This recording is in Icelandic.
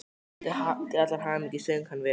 Til allrar hamingju söng hann vel!